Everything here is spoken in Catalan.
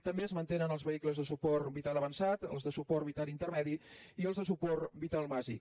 també es mantenen els vehicles de suport vital avançat els de suport vital intermedi i els de suport vital bàsic